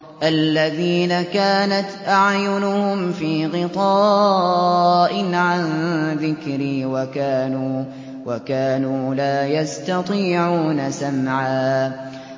الَّذِينَ كَانَتْ أَعْيُنُهُمْ فِي غِطَاءٍ عَن ذِكْرِي وَكَانُوا لَا يَسْتَطِيعُونَ سَمْعًا